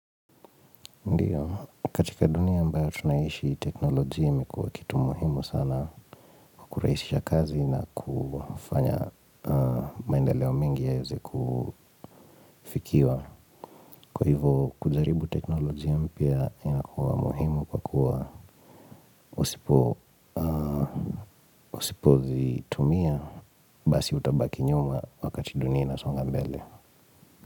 Ndiyo, katika dunia ambayo tunaiishi teknolojia imekuwa kitu muhimu sana kwa kurahisisha kazi na kufanya maendeleo mengi ya yawezekufikiwa. Kwa hivo kujaribu teknolojia mpya inakuwa muhimu kwa kuwa usipozitumia basi utabaki nyuma wakati dunia inasonga mbele.